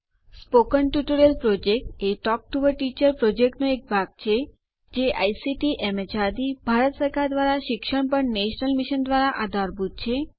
મૌખિક ટ્યુટોરિયલ યોજના એ ટોક ટૂ અ ટીચર યોજનાનો એક ભાગ છે જે આઇસીટી એમએચઆરડી ભારત સરકાર દ્વારા શિક્ષણ પર નેશનલ મિશન દ્વારા આધારભૂત છે